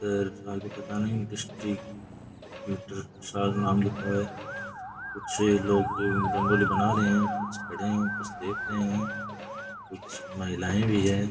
आगे पता नहीं नाम लिखा हुआ है कुछ लोग रंगोली बना रहे है कुछ खड़े है कुछ देख रहे हैं कुछ महिलाऐं भी है।